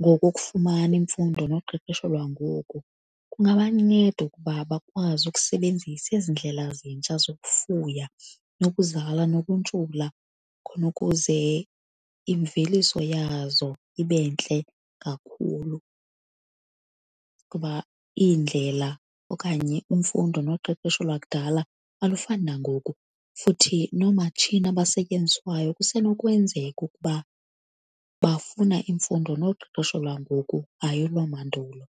ngoku ukufumana imfundo noqeqesho lwangoku kungabanceda ukuba bakwazi ukusebenzisa ezi ndlela zintsha zokufuya, nokuzala nokuntshula khonukuze imveliso yazo ibe ntle kakhulu. Kuba iindlela okanye imfundo noqeqesho lwakudala alufani nangoku, futhi noomatshini abasetyenziswayo kusenokwenzeka ukuba bafuna imfundo noqeqesho lwangoku hayi olwamandulo.